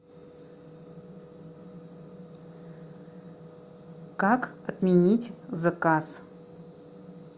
как отменить заказ